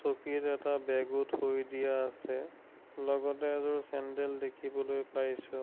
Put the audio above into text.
চকীত এটা বেগো থৈ দিয়া আছে লগতে এজোৰ চেন্দেল দেখিবলৈ পাইছোঁ।